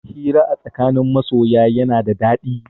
Hira a tsakanin masoya yana da daɗi.